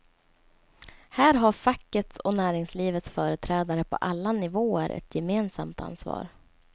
Här har fackets och näringslivets företrädare på alla nivåer ett gemensamt ansvar.